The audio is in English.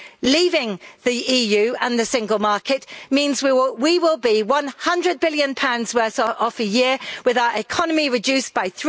Leaving the EU and the Single Market means that we will GBP 100 billion worse off a year, with our economy reduced by